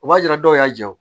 O b'a yira dɔw y'a jɛ